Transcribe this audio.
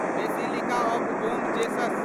basilica of Bom Jesus